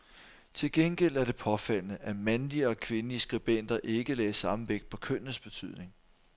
Til gengæld er det påfaldende, at mandlige og kvindelige skribenter ikke lagde samme vægt på kønnets betydning.